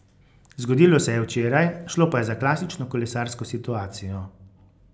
Zgodilo se je včeraj, šlo pa je za klasično kolesarsko situacijo.